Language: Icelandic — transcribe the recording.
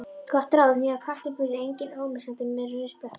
Gott ráð: Nýjar kartöflur eru eiginlega ómissandi með rauðsprettunni.